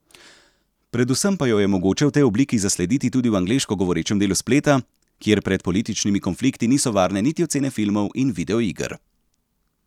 Predvsem pa jo je mogoče v tej obliki zaslediti tudi v angleško govorečem delu spleta, kjer pred političnimi konflikti niso varne niti ocene filmov in videoiger.